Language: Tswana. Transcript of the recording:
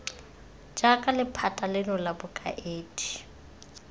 jaana lephata leno la bokaedi